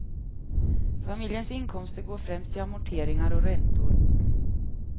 Familjens inkomster går främst till amorteringar och räntor.